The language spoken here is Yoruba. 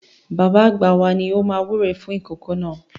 Bàbá àgbà wa ni ó máa wúre fún ìkòkò náà.